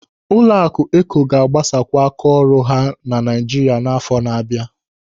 Ụlọaku Eko ga-agbasakwu áká ọrụ ha Naịjirịa n'àfọ́ na-abịa.